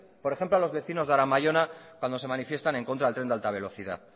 por ejemplo a los vecinos de aramayona cuando se manifiestan en contra del tren de alta velocidad